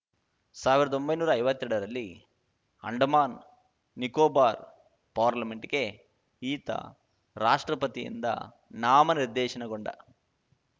ಸಾವಿರ್ದೊಂಬೈ ನೂರಾ ಐವತ್ತೆರಡರಲ್ಲಿ ಅಂಡಮಾನ್‌ ನಿಕೋಬಾರ್‌ ಪಾರ್ಲಿಮೆಂಟ್‌ಗೆ ಈತ ರಾಷ್ಟ್ರಪತಿಯಿಂದ ನಾಮನಿರ್ದೇಶನಗೊಂಡ